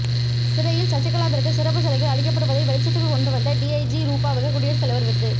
சிறையில் சசிகலாவிற்கு சிறப்பு சலுகைகள் அளிக்கப்படுவதை வெளிச்சத்துக்கு கொண்டு வந்த டிஜஜி ரூபாவுக்கு குடியரசுத் தலைவர் விருது